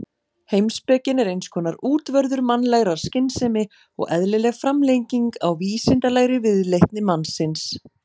Heimspekin er eins konar útvörður mannlegrar skynsemi og eðlileg framlenging á vísindalegri viðleitni mannsins.